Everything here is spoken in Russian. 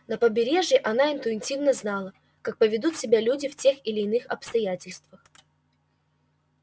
на побережье она интуитивно знала как поведут себя люди в тех или иных обстоятельствах